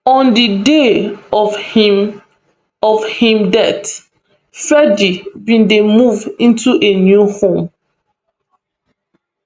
on di day of im of im death freddy bin dey move into a new home